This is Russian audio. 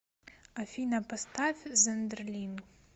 афина поставь зондерлинг